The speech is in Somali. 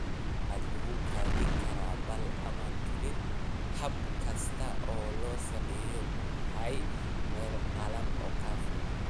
"Waxaa lagu kaydin karaa baal ama tuulin, hab kasta oo loo sameeyo, ku hay meel qallalan oo ka fog"